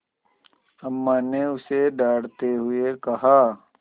अम्मा ने उसे डाँटते हुए कहा